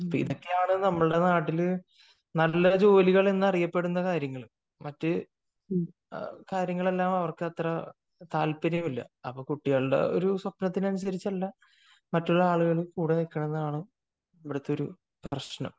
ഇതൊക്കെയാണ് നമ്മുടെ നാട്ടിൽ നല്ല ജോലികൾ എന്നറിയപ്പെടുന്ന കാര്യങ്ങൾ മറ്റു കാര്യങ്ങളെല്ലാം അവർക്ക് അത്ര താല്പര്യമില്ല . അപ്പൊ കുട്ടികളുടെ ഒരു സ്വപ്നത്തിനു അനുസരിച്ചല്ല മറ്റുള്ള ആളുകൾ കൂടെ നിൽക്കുന്നത് ആണ് ഇവിടുത്തെ ഒരു പ്രശ്നം